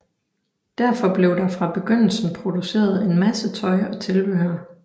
Derfor blev der fra begyndelsen produceret en masse tøj og tilbehør